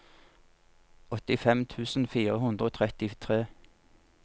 åttifem tusen fire hundre og trettitre